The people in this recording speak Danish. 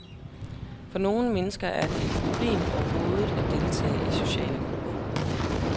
For nogle mennesker er det et problem overhovedet at deltage i sociale grupper.